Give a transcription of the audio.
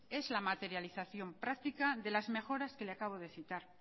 es la materialización práctica de las mejoras que le acabamos de citar